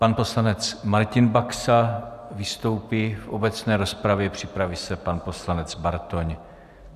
Pan poslanec Martin Baxa vystoupí v obecné rozpravě, připraví se pan poslanec Bartoň.